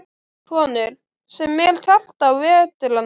Konur, sem er kalt á vetrarnóttum.